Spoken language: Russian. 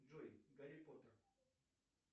джой гарри поттер